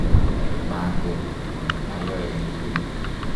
manget ne ayoe nguni